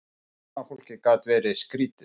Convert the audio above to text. Fullorðna fólkið gat verið skrýtið.